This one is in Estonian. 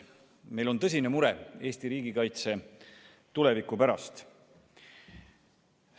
Meil on tõsine mure Eesti riigikaitse tuleviku pärast.